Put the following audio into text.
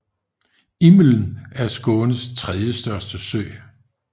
Immeln er Skånes tredje største sø